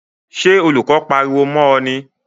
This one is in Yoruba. Sé olùkó pariwo mó o ni?